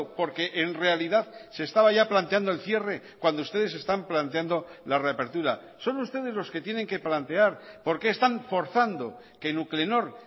porque en realidad se estaba ya planteando el cierre cuando ustedes están planteando la reapertura son ustedes los que tienen que plantear por qué están forzando que nuclenor